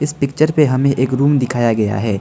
इस पिक्चर पे हमें एक रूम दिखाया गया है।